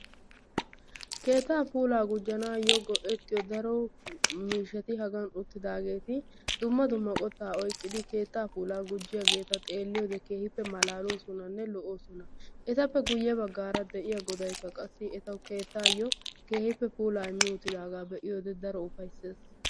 keettaa puulaa gujjanayoo go"ettiyoo daro miishshatti hagan uttidageeti dumma dumma qottaa oyqqidi keettaa puulaa gujjiyaageta xeelliyoode keehippe malaloosonanne lo"oososna. etappe guyye baggaara de'iyaa goday qassi etawu keettaa puulaa immi uttidaageta be"iyode keehippe lo"oosona.